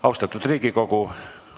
Austatud Riigikogu!